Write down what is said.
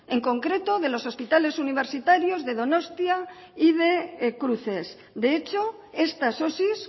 en concreto de los hospitales universitarios de donostia y de cruces de hecho estas osi